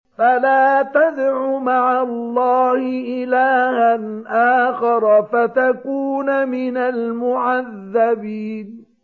فَلَا تَدْعُ مَعَ اللَّهِ إِلَٰهًا آخَرَ فَتَكُونَ مِنَ الْمُعَذَّبِينَ